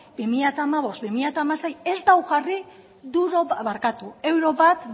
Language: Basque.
bi mila hamabost barra bi mila hamasei ez du jarri euro bat